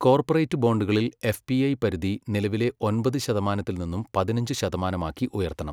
Corporate ബോണ്ടുകളിൽ F P I പരിധി നിലവിലെ ഒമ്പത് ശതമാനത്തിൽ നിന്നും പതിനഞ്ച് ശതമാനമാക്കി ഉയർത്തണം.